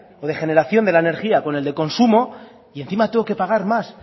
o de generación de la energía con el del consumo y encima tengo que pagar más